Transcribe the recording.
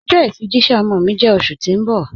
Ọjọ ifijìṣẹ̀ ọmọ mi jẹ́ oṣù ti n bọ̀.